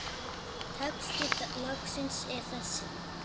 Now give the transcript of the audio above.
Texti lagsins er þessi